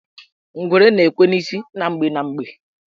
Ngwere na-ekwe n' isi na mgbe na mgbe.